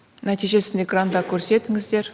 нәтижесін экранда көрсетіңіздер